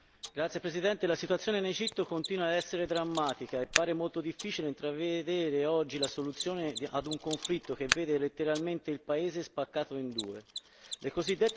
Signor Presidente, la situazione in Egitto continua ad essere drammatica e pare molto difficile intravedere oggi la soluzione a un conflitto che vede il paese letteralmente spaccato in due.